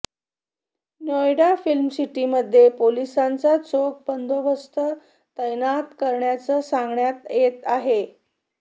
नोएडा फिल्मसिटीमध्ये पोलिसांचा चोख बंदोबस्त तैनात केल्याचं सांगण्यात येत आहे